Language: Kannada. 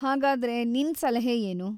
ಹಾಗಾದ್ರೆ ನಿನ್‌ ಸಲಹೆ ಏನು?